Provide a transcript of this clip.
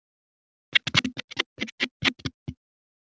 Kristin, heyrðu í mér eftir sjötíu mínútur.